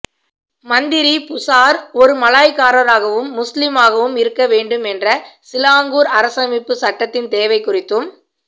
மந்திரி புசார் ஒரு மலாய்க்காரராகவும் முஸ்லிமாகவும் இருக்க வேண்டும் என்ற சிலாங்கூர் அரசமைப்புச் சட்டத்தின் தேவை குறித்தும்